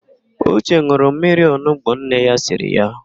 Ụche n̄ụrụ mmiri onugbo nne ya siri ya.